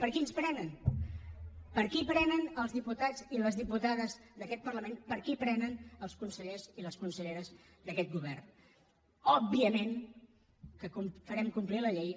per qui ens prenen per qui prenen els diputats i les diputades d’aquest parlament per qui prenen els consellers i els conselleres d’aquest govern òbviament que farem complir la llei